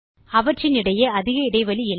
அவற்றின் இடையே அதிக இடைவெளி இல்லை